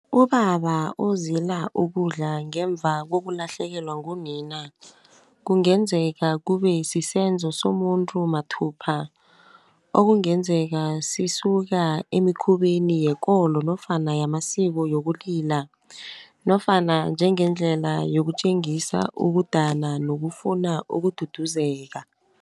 Ubaba uzila ukudla ngemva kokulahlekelwa ngunina. Kungenzeka kube sisenzo somuntu mathupha, okungenzeka sisuka emikhubeni yekolo nofana yamasiko yokulila, nofana njengendlela yokutjengisa ukudana nokufuna ukududuzeka.